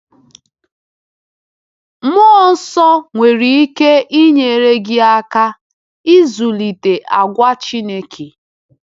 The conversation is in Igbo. Mmụọ Nsọ nwere ike inyere gị aka ịzụlite àgwà Chineke.